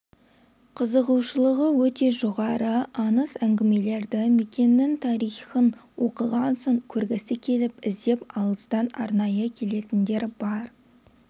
қызығушылығы өте жоғары аңыз-әңгімелерді мекеннің тарихын оқыған соң көргісі келіп іздеп алыстан арнайы келетіндер бар